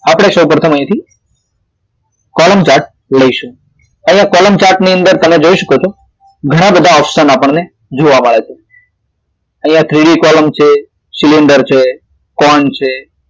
આપણે સૌપ્રથમ અહીથી column chart લઈશું અહી column chart ની અંદર તમે જોય શકો છો ઘણા બધા option આપણને જોવા મળે છે અહિયાં Three D column છે cylinder છે corn છે